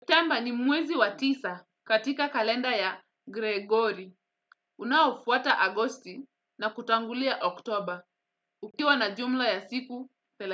Septemba ni mwezi wa tisa katika kalenda ya Gregori. Unaofuata agosti na kutangulia oktober. Ukiwa na jumla ya siku, thela.